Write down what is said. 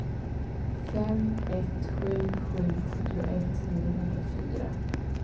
fem ett sju sju sjuttioett niohundrafyra